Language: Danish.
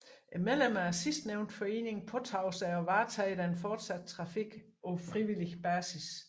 Medlemmerne af sidstnævnte forening påtog sig at varetage den fortsatte trafik på frivillig basis